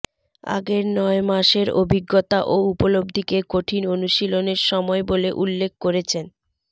আগের নয় মাসের অভিজ্ঞতা ও উপলব্ধিকে কঠিন অনুশীলনের সময় বলে উল্লেখ করেছেন